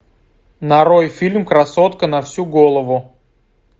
нарой фильм красотка на всю голову